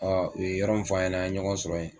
u ye yɔrɔ min fɔ ɲɛna an ye ɲɔgɔn sɔrɔ yen